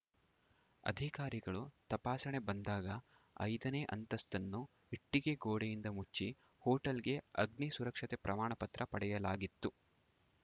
ಅಧಿಕಾರಿಗಳು ತಪಾಸಣೆ ಬಂದಾಗ ಐದನೇ ಅಂತಸ್ತನ್ನು ಇಟ್ಟಿಗೆ ಗೋಡೆಯಿಂದ ಮುಚ್ಚಿ ಹೋಟೆಲ್‌ಗೆ ಅಗ್ನಿ ಸುರಕ್ಷತೆ ಪ್ರಮಾಣ ಪತ್ರ ಪಡೆಯಲಾಗಿತ್ತು